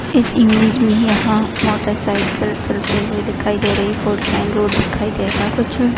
इस इमेज में यहाँ मोटर साइकिल चलते हुए दिखाई दे रही फोर लाइन रोड दिखाई दे रहा है कुछ--